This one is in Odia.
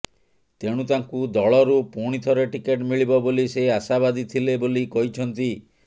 ତେଣୁ ତାଙ୍କୁ ଦଳରୁ ପୁଣିଥରେ ଟିକେଟ୍ ମିଳିବ ବୋଲି ସେ ଆଶାବାଦୀ ଥିଲେ ବୋଲି କହିଛନ୍ତି